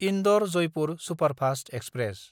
इन्दर–जयपुर superfast express